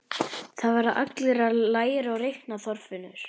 Það verða allir að læra að reikna, Þorfinnur